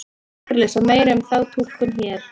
Hægt er að lesa meira um þá túlkun hér.